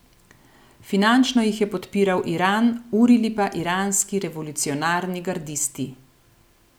Finančno jih je podpiral Iran, urili pa iranski revolucionarni gardisti.